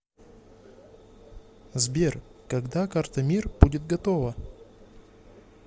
сбер когда карта мир будет готова